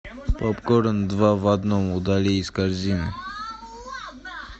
попкорн два в одном удали из корзины